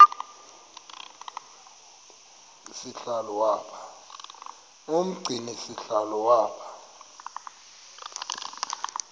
umgcini sihlalo waba